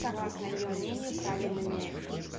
согласно её мнению правильными